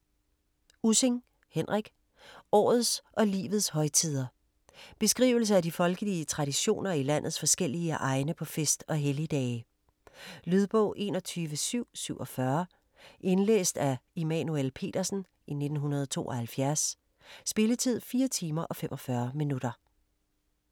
Ussing, Henrik: Årets og livets højtider Beskrivelse af de folkelige traditioner i landets forskellige egne på fest- og helligdage. Lydbog 21747 Indlæst af Immanuel Petersen, 1972. Spilletid: 4 timer, 45 minutter.